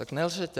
Tak nelžete.